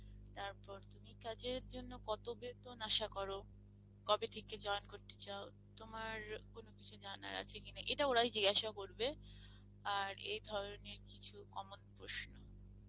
তারপর তুমি কাজের জন্য কত বেতন আশা করো? কবে থেকে join করতে চাও? তোমার কোনো কিছু জানার আছে কিনা? এটা ওরাই জিজ্ঞাসা করবে আর এই ধরনের কিছু common প্রশ্ন।